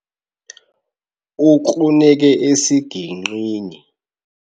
Ukruneke esigingqini.